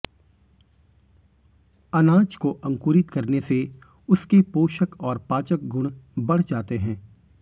अनाज को अंकुरित करने से उसके पोषक और पाचक गुण बढ़ जाते हैं